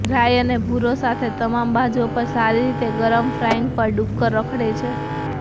રાઈ અને ભુરો સાથે તમામ બાજુઓ પર સારી રીતે ગરમ ફ્રાઈંગ પર ડુક્કર રખડે છે